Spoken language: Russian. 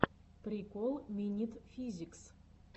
прикол минит физикс